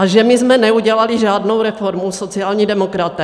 A že my jsme neudělali žádnou reformu, sociální demokraté?